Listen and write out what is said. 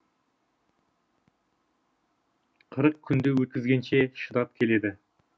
қырық күнді өткізгенше шыдап келеді